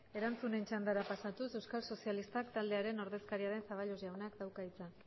erantzunen txandara pasatuz euskal sozialistak taldearen ordezkaria den zaballos jaunak dauka hitza